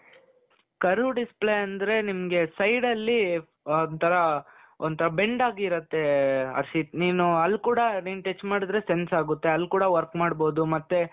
Curve display ಅಂದರೆ ನಿಮಗೆ side ಅಲ್ಲಿ ಒಂತರಾ ಒಂಥರಾ bend ಆಗಿರುತ್ತೆ ಹರ್ಷಿತ್ ನೀನು ಅಲ್ಲಿ ಕೂಡ ನೀನು touch ಮಾಡಿದ್ರೆ sense ಆಗುತ್ತೆ ಅಲ್ಲಿ ಕೂಡ work ಮಾಡಬಹುದು ಮತ್ತೆ ,